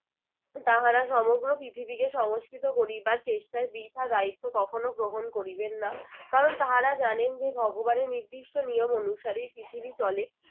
তাহারা সমগ্র পৃথিবীকে সংস্কৃত করিবার চেষ্টায় বৃথা দায়িত্ব কখনও গ্রহণ করিবেন না। কারণ তাহার জানেন যে ভগবানের নির্দিষ্ট নিয়ম অনুসারেই পৃথিবী চলে